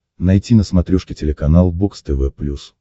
найти на смотрешке телеканал бокс тв плюс